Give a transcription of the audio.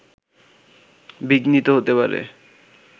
বিঘ্নিত হতে পারে